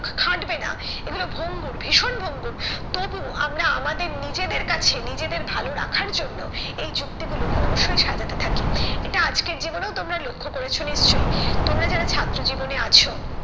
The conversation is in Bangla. খাটবে না এগুলো ভঙ্গুর, ভীষণ ভঙ্গুর। তবুও আমরা আমাদের নিজেদের কাছে নিজেদের ভালো রাখার জন্য এই যুক্তি গুলো ক্রমশই সাজাতে থাকি। এটা আজকের জীবনেও তোমরা লক্ষ্য করেছো নিশ্চই? তোমরা যারা ছাত্র জীবনে আছো,